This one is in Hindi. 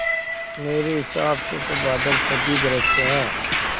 मेरे हिसाब से तो बादल तभी गरजते हैं